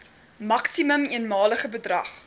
maksimum eenmalige bedrag